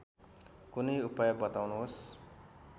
कुनै उपाय बताउनुहोस्